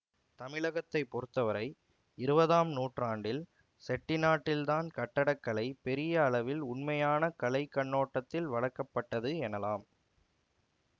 தமிழகத்தைப் பொறுத்தவரை இருவதாம் நூற்றாண்டில் செட்டிநாட்டில்தான் கட்டடக்கலை பெரிய அளவில் உண்மையான கலை கண்ணோட்டத்தில் வளர்க்க பட்டது எனலாம்